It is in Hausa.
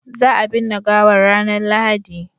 za a binne gawan ranar lahadi